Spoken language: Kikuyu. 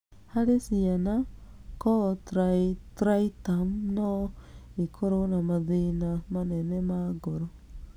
Harĩ ciana, cor triatriatum no ĩkorũo na mathĩna manene ma ngoro.